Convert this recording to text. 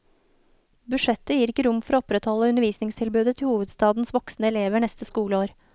Budsjettet gir ikke rom for å opprettholde undervisningstilbudet til hovedstadens voksne elever neste skoleår.